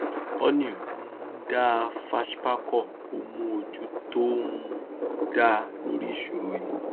honey um dá fashpacom ó mú ojú tó um dá lórí ìṣòro yìí